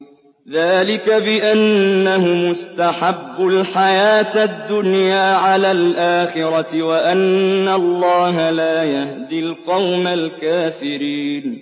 ذَٰلِكَ بِأَنَّهُمُ اسْتَحَبُّوا الْحَيَاةَ الدُّنْيَا عَلَى الْآخِرَةِ وَأَنَّ اللَّهَ لَا يَهْدِي الْقَوْمَ الْكَافِرِينَ